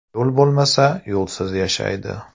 Yo‘l bo‘lmasa, yo‘lsiz yashaydi.